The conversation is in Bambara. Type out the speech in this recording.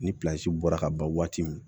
Ni bɔra ka ban waati min